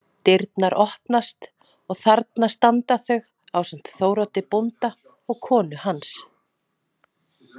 Dyrnar opnast og þarna standa þau ásamt Þóroddi bónda og konu hans.